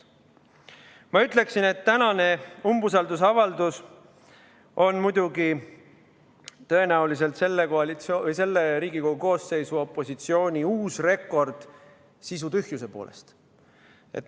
Ma ütleksin, et tänane umbusaldusavaldus on tõenäoliselt selle koalitsiooni või selle Riigikogu koosseisu opositsiooni uus rekord sisutühjuse poolest.